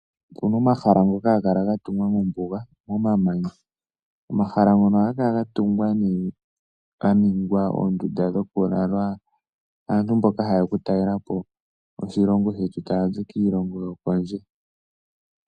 Opu na omahala ngoka haga kala ga tungwa mombuga momamanya. Omahala ngono ohaga kala ga tungwa nee pwa ningwa oondunda dhokulala aantu mboka haye ya okutalela po oshilongo shetu taya zi kiilongo yokondje.